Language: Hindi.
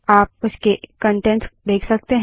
आप उसके कंटेंट्स देख सकते हैं